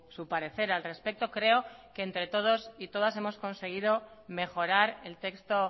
su parecer al respecto creo que entre todos y todas hemos conseguido mejorar el texto